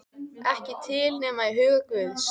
Ekki til nema í huga guðs.